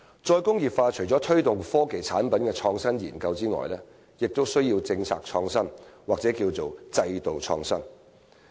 "再工業化"除了推動科技產品的創新研究外，也需要政策創新或制度創新。